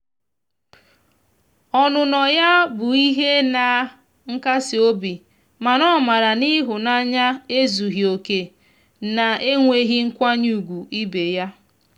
ọnụnọ ya bụ ihe na nkasi obi mana o mara na ihunanya ezughi oke na-enweghi nkwanye ugwu ibe ya.